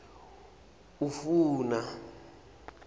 ufuna